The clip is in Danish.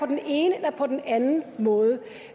den ene eller på den anden måde